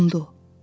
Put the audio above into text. Dondu.